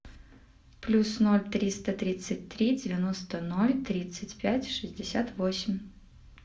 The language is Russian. плюс ноль триста тридцать три девяносто ноль тридцать пять шестьдесят восемь